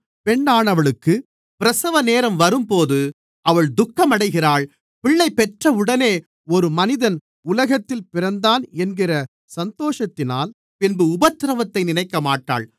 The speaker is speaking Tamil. பெண்ணானவளுக்குப் பிரசவநேரம் வரும்போது அவள் துக்கமடைகிறாள் பிள்ளை பெற்றவுடனே ஒரு மனிதன் உலகத்தில் பிறந்தான் என்கிற சந்தோஷத்தினால் பின்பு உபத்திரவத்தை நினைக்கமாட்டாள்